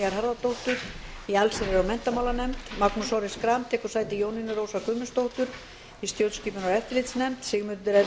harðardóttur í allsherjar og menntamálanefnd magnús orri schram tekur sæti jónínu rósar guðmundsdóttur í stjórnskipunar og eftirlitsnefnd sigmundur ernir